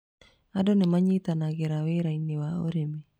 Andũ nĩ manyitanagĩra wĩra-inĩ wa ũrĩmi.